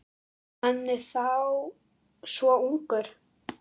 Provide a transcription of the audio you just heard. Hann er þá svona ungur.